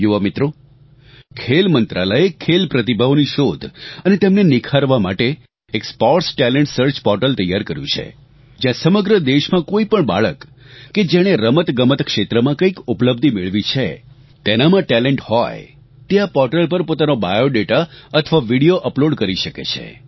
યુવા મિત્રો ખેલ મંત્રાલયે ખેલ પ્રતિભાઓની શોધ અને તેમને નિખારવા માટે એક સ્પોર્ટ્સ ટેલેન્ટ સર્ચ પોર્ટલ તૈયાર કર્યું છે જ્યાં સમગ્ર દેશમાં કોઇ પણ બાળક કે જેણે રમતગમત ક્ષેત્રમાં કંઇક ઉપલબ્ધિ મેળવી છે તેનામાં ટેલેન્ટ હોય તે આ પોર્ટલ પર પોતાનો બાયોડેટા અથવા વિડીયો અપલોડ કરી શકે છે